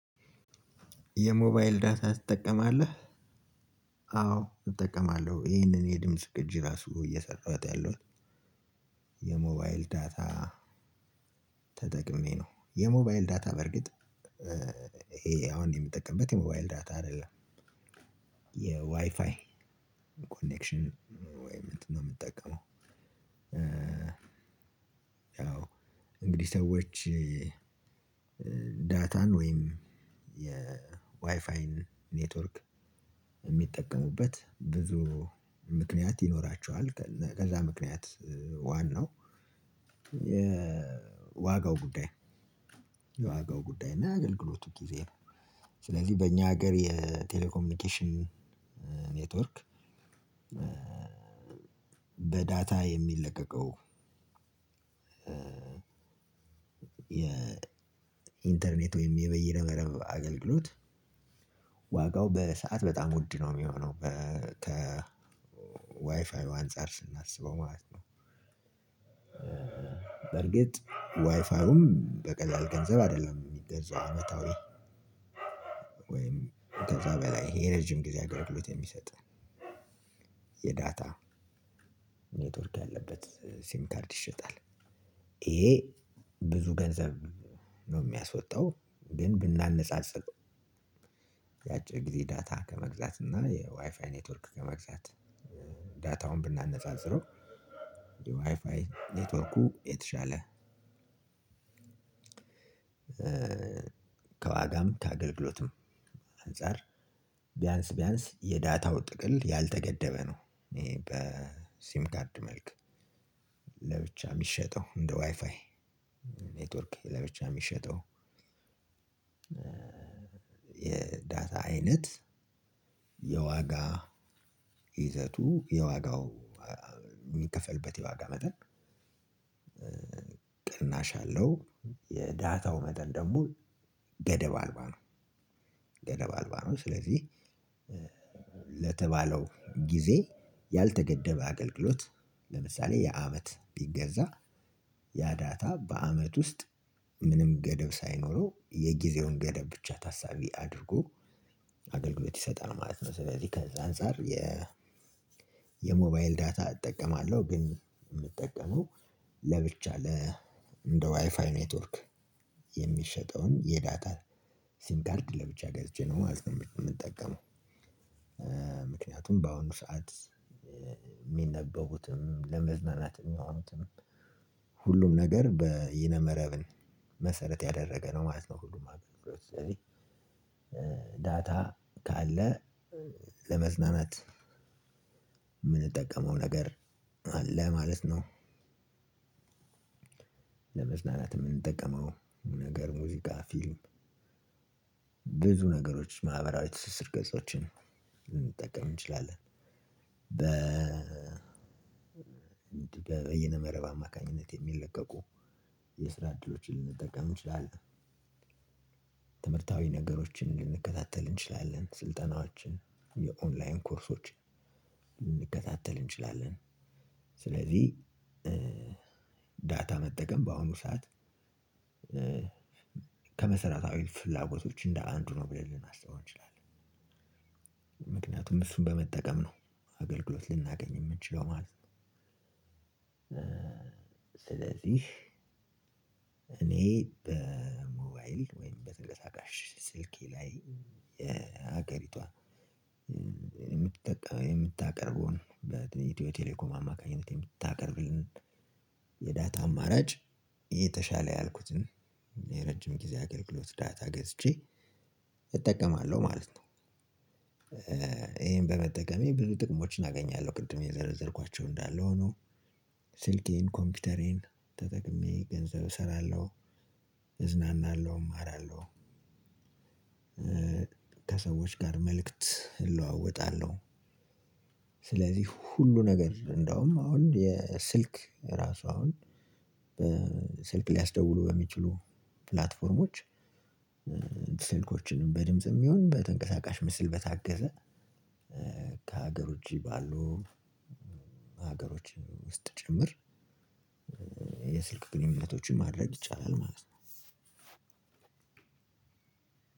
የሞባይል ዳታ ትጠቀማለህ አዎ እጠቀማለሁ ይሄንን የድምጽ ቅጅ ራሱ እየሰራሁት ያለሁት የሞባይል ዳታ ተጠቅሜ ነው። የሞባይል ዳታ በርግጥ ይሄ አሁን የምጠቀምበት የሞባይል ዳታ አይደለም የዋይፋይ ኮኔክሽን ወይም እምጠቀመው። ያው እንግዲህ ሰዎች ዳታን ወይም ዬ ዋይፋይን ኔትዎርክ እሚተቀሙበት ብዙ ምክንያት ይኖራቸዋል። ከዛ ምክንያት ዋናው የዋጋው ጉዳይ ነው። የዋጋው ጉዳይ እና አገልግሎቱ ጊዜ ነው። ስለዚህ በእኛ ሀገር የቴሌኮሚኒኬሽን ኔትወርክ በዳታ የሚለቀቀው የኢንተርኔት ወይም የበይነመረብ አገልግሎት ዋጋው በሰአት በጣም ውድ ነው የሚሆነው ከ ዋይፋዩ አንፃር ስናስበው ማለት ነው። በርግጥ ዋይፋውም በቀላል ገንዘብ አይደለም የሚገዛው አመታዊ ወይም ከዛ በላይ የረጅም ጊዜ አገልግሎት የሚሰጥ የዳታ ኔትወርክ ያለበት ሲም ካርድ ይሸጣል። ይሄ ብዙ ገንዘብ ነው የሚያስወጣው። ግን ብናነጻጽር ያጭር ግዜ ዳታ ከመግዛትና የዋይፋይ ኔትዎርክ ከመግዛት ዳታውን ብናነጻጽረው የዋይፋይ ኔትወርኩ የተሻለ ከዋጋም ከአገልግሎትም አንፃር ቢያንስ ቢያንስ የዳታው ጥቅል ያልተገደበ ነው። ይሄ በሲም ካርድ መልክ ለብቻ እሚሸጠው እንደ ዋይፋይ ኔትወርክ ለብቻ እሚሸጠው የዳታ አይነት የዋጋ ይዘቱ የዋጋው እሚከፈልበት የዋጋ መጠን ቅናሽ አለው የዳታው መጠን ደግሞ ገደብ አልባ ነው። ገደብ አልባ ነው ስለዚህ ለተባለው ጊዜ ያልተገደበ አገልግሎት ለምሳሌ የአመት ቢገዛ ዳታ በአመት ውስጥ ምንም ገደብ ሳይኖረው የጊዜውን ገደብ ብቻ ታሳቢ አድርጎ አገልግሎት ይሰጣል ማለት ነው። ስለዚህ ከዛ አንፃር የ የሞባይል ዳታ እጠቀማለሁ ግን የምጠቀመው ለብቻ ለ እንደ ዋይፋይ ኔትወርክ የሚሸጠውን የዳታ ሲም ካርድ ለብቻ ገዝቼ ነው ማለት ነው። የምንጠቀመው ምክንያቱም በአሁኑ ሰዓት የሚነበቡትም ለመዝናናት የሚሆኑትም ሁሉም ነገር በይነ መረብን መሰረት ያደረገ ነው ማለት ነው። ሁሉም አገልግሎት ስለዚህ ዳታ ካለ ለመዝናናት እምንጠቀመው ነገር አለ ማለት ነው። ለመዝናናት የምንጠቀመው ነገር ሙዚቃ ፊልም ብዙ ነገሮች ማህበራዊ ትስስር ገጾችን ልንጠቀም እንችላለን በ በይነ መረብ አማካኝነት የሚለቀቁ የስራ እድሎችን ልንጠቀም እንቺላለን። ትምህርታዊ ነገሮቺን ልንከታተልል እንቺላለን ስልጠናዎችን የኦንላይን ኮርሶች ልንከታተል እንቺላለን። ስለዚህ ዳታ መጠቀም በአሁኑ ሰዓት ከመሰረታዊ ፍላጎቶች እንደ አንዱ ነው ብለን ልናስበው እንችላለን። ምክንያቱም እሱን በመጠቀም ነው አገልግሎት ልናገኝ የምንችለው ማለት ነው። ስለዚህ እኔ በሞባይል ወይም በተንቀሳቃሽ ስልኬ ላይ የሀገሪቷ የምታቀርበው በኢትዮ ቴሌኮም አማካኝነት የምታቀርብልን የዳታ አማራጭ የተሻለ ያልኩትን የረጅም ጊዜ አገልግሎት ዳታ ገዝቼ እጠቀማለሁ ማለት ነው። ይሄን በመጠቀሜ ብዙ ጥቅሞችን አገኛለሁ ቅድም የዘረዘርኳቸው እንዳለ ሆኖ ስልኬን ኮምፒተሬን ተጠቅሜ ገንዘብ እሰራለው እዝናናለው እማራለው። ከሰዎች ጋር መልክት እለዋወጣለሁ። ስለዚህ ሁሉ ነገር እንደውም አሁን የስልክ ራሱ አሁን ስልክ ሊያስደውሉ በሚችሉ ፕላትፎርሞች ስልኮችን በድምጽም ይሁን በተንቀሳቃሽ ምስል በታገዘ ከአገር ውጪ ባሉ ሀገሮች ውስጥ ጭምር የስልክ ግንኙነቶችን ማድረግ ይቻላል ማለት ነው።